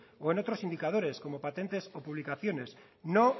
o en otros indicadores como patentes o publicaciones no